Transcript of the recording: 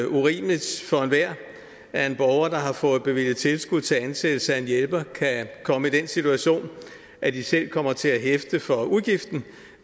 urimeligt for enhver at borgere der har fået bevilget tilskud til ansættelse af en hjælper kan komme i den situation at de selv kommer til at hæfte for udgiften